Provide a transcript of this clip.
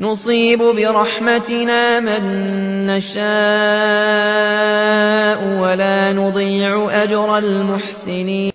نُصِيبُ بِرَحْمَتِنَا مَن نَّشَاءُ ۖ وَلَا نُضِيعُ أَجْرَ الْمُحْسِنِينَ